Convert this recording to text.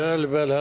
Bəli, bəli.